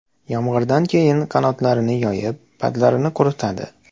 Yomg‘irdan keyin qanotlarini yoyib, patlarini quritadi.